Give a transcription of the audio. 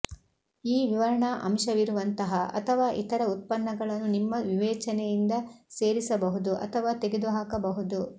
ಈ ವಿವರಣಾ ಅಂಶವಿರುವಂತಹ ಅಥವಾ ಇತರ ಉತ್ಪನ್ನಗಳನ್ನು ನಿಮ್ಮ ವಿವೇಚನೆಯಿಂದ ಸೇರಿಸಬಹುದು ಅಥವಾ ತೆಗೆದುಹಾಕಬಹುದು